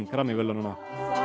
Grammy verðlaunanna